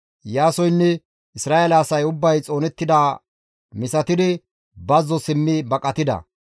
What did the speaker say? Iyaasoynne Isra7eele asay ubbay xoonettidaa misatidi bazzo simmi baqatida.